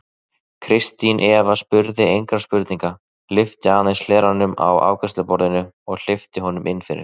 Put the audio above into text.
Kristín Eva spurði engra spurninga, lyfti aðeins hleranum á afgreiðsluborðinu og hleypti honum inn fyrir.